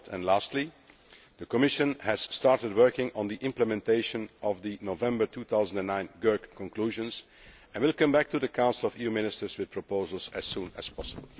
Fourthly, and lastly, the Commission has started working on the implementation of the November 2009 GAERC conclusions, and will come back to the Council of EU Ministers with proposals as soon as possible.